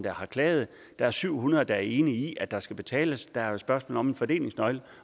har klaget der er syv hundrede der er enige i at der skal betales der er jo et spørgsmål om en fordelingsnøgle